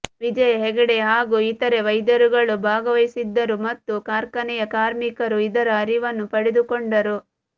ವಿಜಯಾ ಹೆಗಡೆ ಹಾಗೂ ಇತರೆ ವೈದ್ಯರುಗಳು ಭಾಗವಹಿಸಿದ್ದರು ಮತ್ತು ಕಾರ್ಖಾನೆಯ ಕಾರ್ಮಿಕರು ಇದರ ಅರಿವನ್ನು ಪಡೆದುಕೊಂಡರು